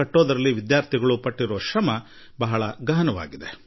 ಹಾಗೂ ಅದಕ್ಕೆ ಅವರು ಹಾಕಿಸುವ ಪರಿಶ್ರಮ ಬಹಳ ಆಳವಾದುದಾಗಿದೆ